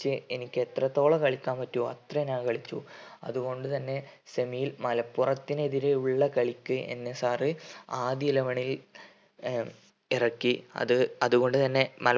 ച് എനിക്ക് എത്രത്തോളം കളിക്കാൻ പറ്റോ അത്രയും ഞാൻ കളിച്ചു അതുകൊണ്ട് തന്നെ semi യിൽ മലപ്പുറത്തിന് എതിരെയുള്ള കളിക്ക് എന്നെ sir ആദ്യ eleven ൽ ഏർ ഇറക്കി അത് അതുകൊണ്ട് തന്നെ